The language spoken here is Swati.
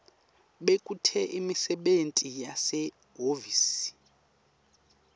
bekute imisebenti yasehhovisi